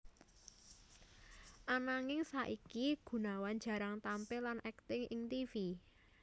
Ananging saiki Gunawan jarang tampil lan akting ing tivi